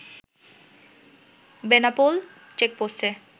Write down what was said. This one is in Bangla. বেনাপোল চেকপোষ্টে